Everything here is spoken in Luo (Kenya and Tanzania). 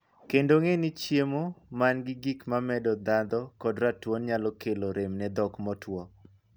Kendo, ng'ee ni chiemo mangi gik mamedo ndhadho kod ratuon nyalo kelo rem ne dhok motwo.